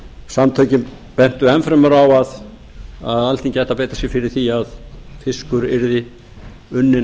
samtökin bentu enn fremur á að alþingi ætti að beita sér fyrir því að fiskur yrði unninn